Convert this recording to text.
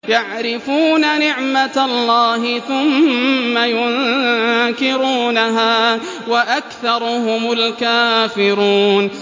يَعْرِفُونَ نِعْمَتَ اللَّهِ ثُمَّ يُنكِرُونَهَا وَأَكْثَرُهُمُ الْكَافِرُونَ